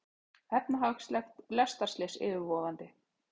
Efnahagslegt lestarslys yfirvofandi